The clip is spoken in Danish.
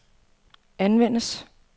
anvendes